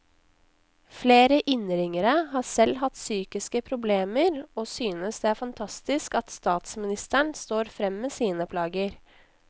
Flere innringere har selv hatt psykiske problemer og synes det er fantastisk at statsministeren står frem med sine plager.